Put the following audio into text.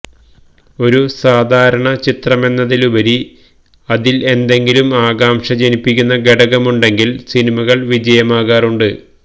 ഒരു സാധാരണ ചിത്രമെന്നതിലുപരി അതില് എന്തെങ്കിലും ആകാംക്ഷ ജനിപ്പിക്കുന്ന ഘടകമുണ്ടെങ്കില് സിനിമകള് വിജയമാകാറുണ്ട്